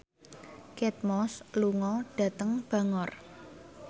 Kate Moss lunga dhateng Bangor